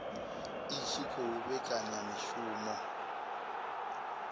i tshi khou vhekanya mishumo